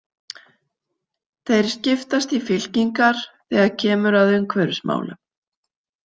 Þeir skiptast í fylkingar þegar kemur að umhverfismálum.